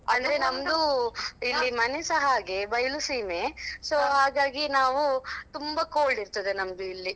ಅಂದ್ರೆ ನಮ್ದು ಇಲ್ಲಿ ಮನೆಸಾ ಹಾಗೆ ಬಯಲುಸೀಮೆ so ಹಾಗಾಗಿ ನಾವು ತುಂಬಾ cold ಇರ್ತದೆ ನಮ್ದು ಇಲ್ಲಿ.